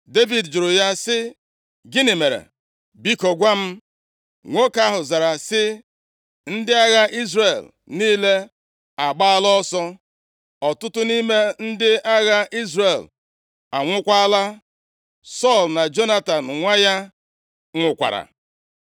Devid jụrụ ya sị, “Gịnị mere? Biko gwa m.” Nwoke ahụ zara sị, “Ndị agha Izrel niile agbaala ọsọ. Ọtụtụ nʼime ndị agha Izrel anwụọkwala. Sọl na Jonatan nwa ya nwụkwara!”